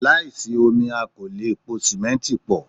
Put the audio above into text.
Láìsí omi a kò lè po simẹnti pọ̀.